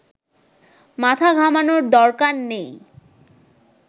মাথা ঘামানোর দরকার নেই